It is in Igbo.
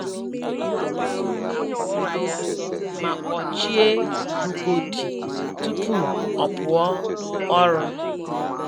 Ọ kwaturu akwa ụra ya ma kpọchie rugodi tupu o pụọ ọrụ.